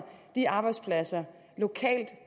de arbejdspladser lokalt